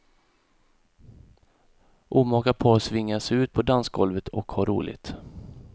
Omaka par svingar sig ut på dansgolvet och har roligt.